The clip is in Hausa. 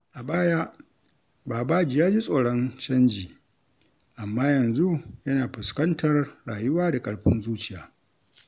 A baya, Babaji ya ji tsoron canji, amma yanzu yana fuskantar rayuwa da ƙarfin zuciya.